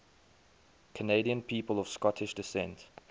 canadian people of scottish descent